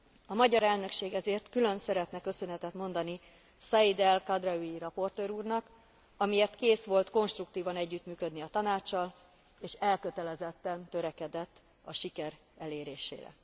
A magyar elnökség ezért külön szeretne köszönetet mondani Saïd El Khadraoui raportőr úrnak, amiért kész volt konstruktívan együttműködni a Tanáccsal és elkötelezetten törekedett a siker elérésére.